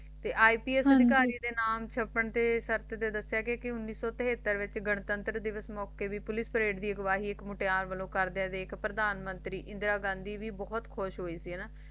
ਏ IPS ਹਾਂਜੀ ਅਧਿਕਾਰੀ ਦੇ ਨਾਮ ਛਾਪਣ ਤੇ ਦੱਸਿਆ ਗਏ ਕਉਨੀਸ ਸੋ ਤਿਹਾਤਰ ਦੇ ਵਿਚ ਘਰਸੰਸਕ੍ਰਿਤ ਦੀ ਪੁਲਿਸ ਪਰਦੇ ਦੇ ਮੋਕਾਯ ਦੇ ਵਿਚ ਗਾਂਧੀ ਹੀ ਬੋਹਤ ਖੁਸ਼ ਹੋਇ ਸੀ